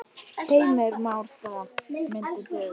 Heimir Már: Það myndi duga?